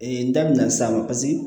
n da bɛna s'a ma paseke